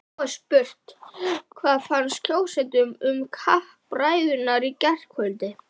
Nú er spurt, hvað fannst kjósendum um kappræðurnar í gærkvöld?